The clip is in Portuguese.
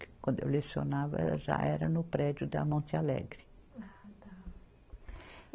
Quando eu lecionava, ela já era no prédio da Monte Alegre. Ah tá. E